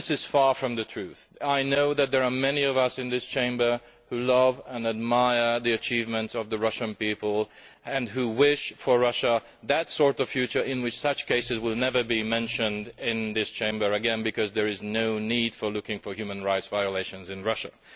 This is far from the truth. I know that there are many of us in this Chamber who love and admire the achievements of the Russian people and who wish for Russia the sort of future in which such cases will never be mentioned in this Chamber again because there will be no need to be looking for human rights violations in Russia.